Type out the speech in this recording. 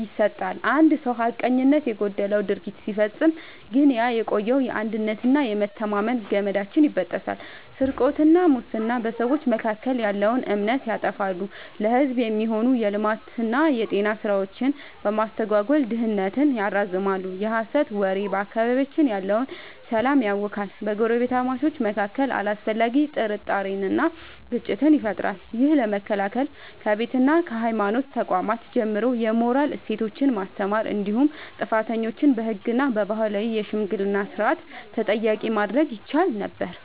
ይሰጣል። አንድ ሰው ሐቀኝነት የጎደለው ድርጊት ሲፈጽም ግን ያ የቆየው የአንድነትና የመተማመን ገመዳችን ይበጠሳል። ስርቆትና ሙስና፦ በሰዎች መካከል ያለውን እምነት ያጠፋሉ፤ ለሕዝብ የሚሆኑ የልማትና የጤና ሥራዎችን በማስተጓጎል ድህነትን ያራዝማሉ። የሐሰት ወሬ፦ በአካባቢያችን ያለውን ሰላም ያውካል፤ በጎረቤታማቾች መካከል አላስፈላጊ ጥርጣሬንና ግጭትን ይፈጥራል። ይህን ለመከላከል ከቤትና ከሃይማኖት ተቋማት ጀምሮ የሞራል እሴቶችን ማስተማር እንዲሁም ጥፋተኞችን በሕግና በባህላዊ የሽምግልና ሥርዓት ተጠያቂ ማድረግ ይቻል ነበር።